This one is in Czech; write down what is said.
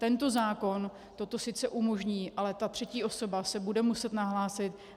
Tento zákon toto sice umožní, ale ta třetí osoba se bude muset nahlásit.